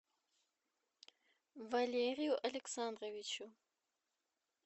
валерию александровичу